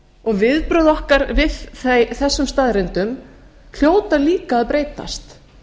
og viðbrögð okkar við þessum staðreyndum hljóta líka að breytast